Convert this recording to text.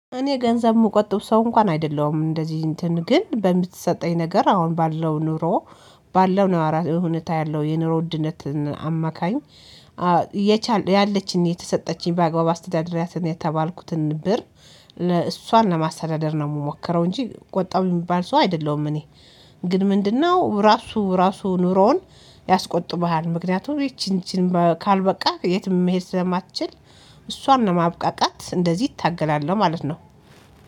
እኔ ገንዘብ የምቆጥብ ሰው እንኳን አይደለሁም እንደዚህ እንትን ግን በምትሰጠኝ ነገር አሁን ባለው ኑሮ ባለው ነው አራ እውነት ያለው የኑሮ ውድነትን አማካኝ የቻለ ያለችኝ የተሰጠችኝ በአገባቡ አስተዳደሪያትን የተባልኩትን ብር ለእሷን ለማስተዳደር ነው የምሞክረው እንጂ ቆጣቢ የምባል ሰው አይደለሁም። እኔ ግን ምንድነው ራሱ ራሱ ኑሮውን ያስቆጥብሃል። ምክንያቱም ይቺን ይቺን ካልበቃክ የትም መሄድ ስለማትችል። እሷን ነው ማብቃቃት እንደዚህ እታገላለሁ ማለት ነው